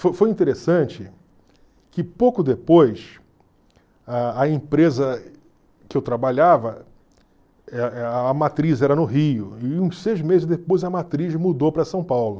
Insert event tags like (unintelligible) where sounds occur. Fo foi interessante que pouco depois, a a empresa que eu trabalhava, (unintelligible) a matriz era no Rio, e uns seis meses depois a matriz mudou para São Paulo.